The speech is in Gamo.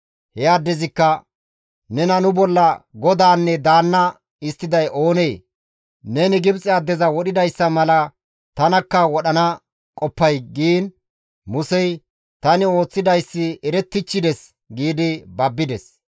He addezikka, «Nena nu bolla godaanne daanna histtiday oonee? Neni Gibxe addeza wodhidayssa mala tanakka wodhana qoppay?» giin Musey, «Tani ooththidayssi erettichchides» gi babbides.